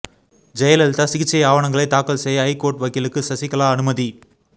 ஜெயலலிதா சிகிச்சை ஆவணங்களை தாக்கல் செய்ய ஐகோர்ட்டு வக்கீலுக்கு சசிகலா அனுமதி